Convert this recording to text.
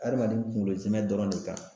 Adamaden kunkolo zɛmɛ dɔrɔn de kan